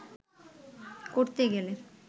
করতে গেলে